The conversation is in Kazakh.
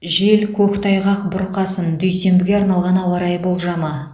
жел көктайғақ бұрқасын дүйсенбіге арналған ауа райы болжамы